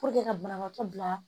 ka banabaatɔ bila